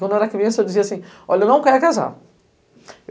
Quando eu era criança, eu dizia assim, olha, eu não quero casar.